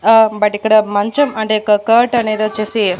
ఆ బట్ ఇక్కడ మంచం అంటే ఒక కాట్ అనేదొచేసి--